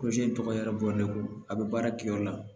in tɔgɔ ye bɔɲɔgɔn a bɛ baara kɛ o la